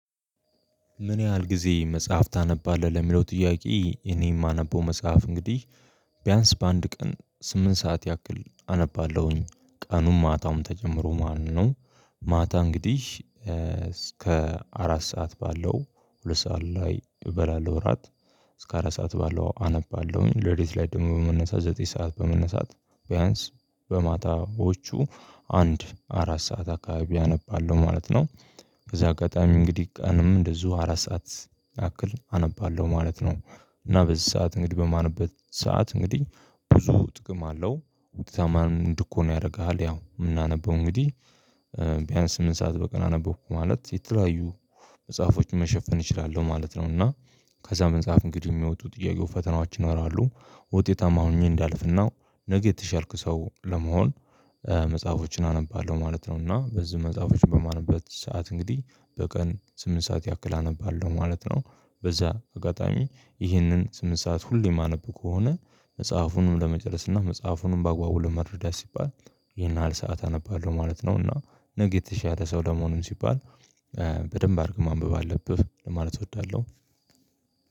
ምን ያህል ጊዜ መጽሐፍ ታነባለህ? ለሚለው ጥያቄ እኔ የማነበው መጽሐፍ እንግዲህ ቢያንስ በአንድ ቀን ስምንት ሰዓት ያክል አነባለሁኝ ቀኑን ማታውም ተጨምሮ ማለት ነው። ማታ እንግዲህ እስከ አራት ሰዓት ባለው ሁለት ሰዓት ላይ እበላለሁ እራት። እስከ አራት ሰዓት ባለው አነባለሁኝ ለልት ላይ ደግሞ በመነሳት ዘጠኝ ሰዓት በመነሳት ቢያንስ በማታዎቹ አንድ አራት ሰዓት አካባቢ አነባለሁ ማለት ነው። ከዛ ቀጣይ እንግዲህ ቀንም እንደዚሁ አራት ሰዓት ያክል አነባለሁ ማለት ነው። እና በዚህ ሰዓት እንግዲህ በማነብበት ሰዓት እንግዲህ ብዙ ጥቅም አለው ውጤታማ እንድኮን ያደርግሃል ያው የምናነበው እንግዲህ ቢያንስ ስምንት ሰዓት በቀን አነበብኩ ማለት የተለያዩ መጽሐፎችን መሸፈን እችላለሁ ማለት ነው። እና ከዛ መጽሐፍ እንግዲህ የሚያወጡ ጥያቄው ፈተናዎች ይኖራሉ ውጤታማ ሆኜ እንዳለፍና ነገ የተሻልኩ ሰው ለመሆን መጽሐፎችን አነባለሁ ማለት ነው። እና በዚህ መጽሐፎች በማነብበት ሰዓት እንግዲህ በቀን ስምንት ሰዓት ያክል አነባለሁ ማለት ነው። በዛ አጋጣሚ ይህንን ስምንት ሰዓት ሁሌ ማነብ ከሆነ መጽሐፉንም ለመጨረስ እና መጽሐፉንም በአግባቡ ለመረዳት ሲባል ይህን ያህል ሰዓት አነባለሁ ማለት ነው። እና ነገ የተሻለ ሰው ለመሆኑም ሲባል በደንብ አድርግ ማንበብ አለብህ ለማለት እወዳለሁ።